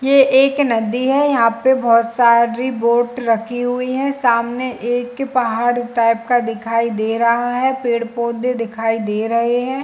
ये एक नदी है यहाँ पे बहुत सारी बोर्ट रखी हुई है सामने एक पहाड़ टाइप का दिखाई दे रहा है पेड़ -पौधे दिखाई दे रहै है।